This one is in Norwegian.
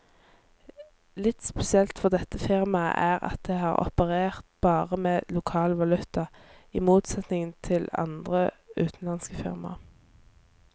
Litt spesielt for dette firmaet er at det har operert bare med lokal valuta, i motsetning til andre utenlandske firmaer.